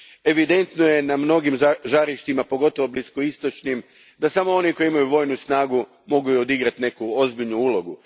Evidentno je na mnogim žarištima, pogotovo bliskoistočnim, da samo oni koji imaju vojnu snagu mogu i odigrati neku ozbiljnu ulogu.